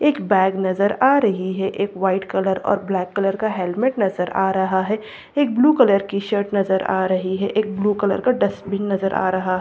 एक बैग नजर आ रही है एक वाइट कलर और ब्लैक कलर का हेलमेट नजर आ रहा है एक ब्लू कलर की शर्ट नजर आ रही है एक ब्लू कलर का डस्टबिन नजर आ रहा --